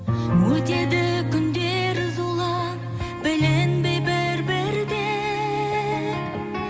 өтеді күндер зулап білінбей бір бірден